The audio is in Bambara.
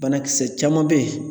Banakisɛ caman bɛ yen